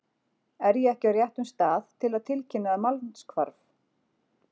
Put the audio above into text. Er ég ekki á réttum stað til að tilkynna um mannshvarf?